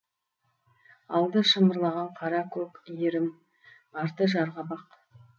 алды шымырлаған қаракөк иірім арты жарқабақ